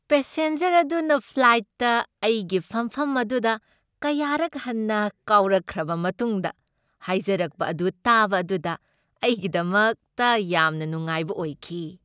Passenger ꯑꯗꯨꯅ ꯐ꯭ꯂꯥꯏꯠꯇ ꯑꯩꯒꯤ ꯐꯝꯐꯝ ꯑꯗꯨꯗ ꯀꯌꯥꯔꯛ ꯍꯟꯅ ꯀꯥꯎꯔꯛꯈ꯭ꯔꯕ ꯃꯇꯨꯡꯗ ꯍꯥꯏꯖꯔꯛꯄ ꯑꯗꯨ ꯇꯥꯕ ꯑꯗꯨꯗ ꯑꯩꯒꯤꯗꯃꯛꯇ ꯌꯥꯝꯅ ꯅꯨꯡꯉꯥꯏꯕ ꯑꯣꯏꯈꯤ꯫